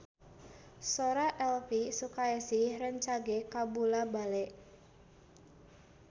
Sora Elvi Sukaesih rancage kabula-bale